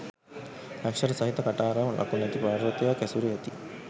අක්‍ෂර සහිත කටාරම් ලකුණැති පර්වතයක් ඇසුරේ ඇති